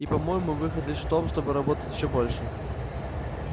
и по-моему выход лишь в том чтобы работать ещё больше